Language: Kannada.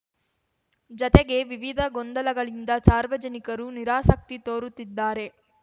ಜತೆಗೆ ವಿವಿಧ ಗೊಂದಲಗಳಿಂದ ಸಾರ್ವಜನಿಕರು ನಿರಾಸಕ್ತಿ ತೋರುತ್ತಿದ್ದಾರೆ